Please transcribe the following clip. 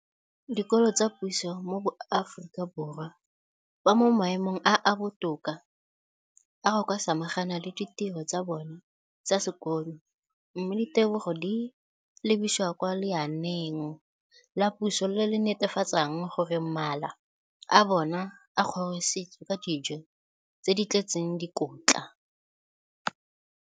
dikolo tsa puso mo Aforika Borwa ba mo maemong a a botoka a go ka samagana le ditiro tsa bona tsa sekolo, mme ditebogo di lebisiwa kwa lenaaneng la puso le le netefatsang gore mala a bona a kgorisitswe ka dijo tse di tletseng dikotla.